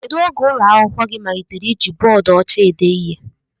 Kedụ oge ụlọ akwụkwọ gị malitere iji bọọdu ọcha ede ihe?